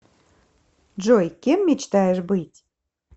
джой кем мечтаешь быть